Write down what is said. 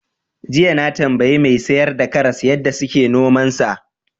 Jiya na tambayi mai sayar da karas yadda suke nomansa.